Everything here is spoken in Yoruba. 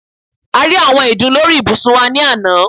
A rí àwọn ìdun lórí ibùsùn wa ni àná